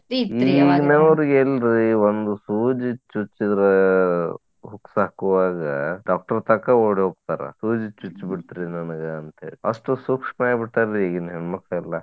ಒಂದ್ ಸೂಜಿ ಚುಚ್ಚಿದ್ರ huks ಹಾಕುವಾಗ doctor ತಕಾ ಓಡಿ ಹೋಗ್ತಾರ. ಸೂಜಿ ಚುಚ್ಚ್ಬಿಡ್ತಿರಿ ನನಗ ಅಂತ ಹೇಳಿ. ಅಷ್ಟು ಸೂಕ್ಷ್ಮ ಆಗಿ ಬಿಟ್ಟಾರಿ ಈಗಿನ ಹೆಣ್ಮಕ್ಕಳೆಲ್ಲಾ.